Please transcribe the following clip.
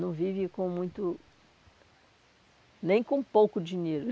Não vive com muito, nem com pouco dinheiro.